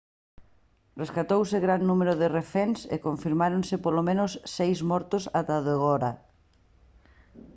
rescatouse gran número de reféns e confirmáronse polo menos seis mortos ata o de agora